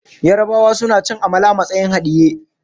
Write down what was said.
Yarabawa suna cin amala a matsayin haɗiye.